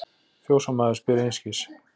Fjósamaður spyr einskis.